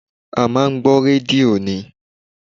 A máa ń gbọ́ rédíò ni